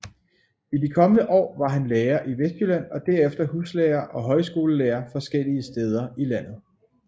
I de kommende år var han lærer i Vestjylland og derefter huslærer og højskolelærer forskellige steder i landet